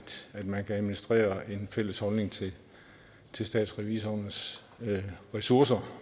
man kan administrere en fælles holdning til til statsrevisorernes ressourcer